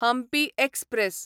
Hampi express